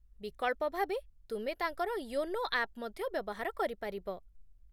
ବିକଳ୍ପ ଭାବେ, ତୁମେ ତାଙ୍କର ୟୋନୋ ଆପ୍ ମଧ୍ୟ ବ୍ୟବହାର କରିପାରିବ